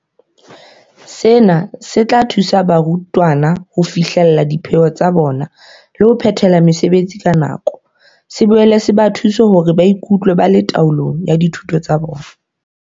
Sena se tla thusa barutwana ho fihlella dipheo tsa bona le ho phethela mosebetsi ka nako, se boele se ba thuse hore ba ikutlwe ba le taolong ya dithuto tsa bona.